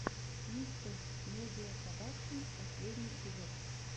мистэ медиа продакшен последний эпизод